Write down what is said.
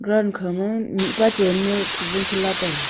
ankha ma mihpa chan ma football abh khan lah taiga.